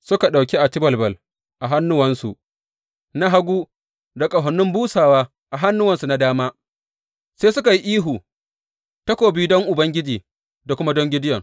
Suka ɗauki acibalbal a hannuwansu na hagu da ƙahonin busawa a hannuwansu na dama, sai suka yi ihu, Takobi don Ubangiji da kuma don Gideyon!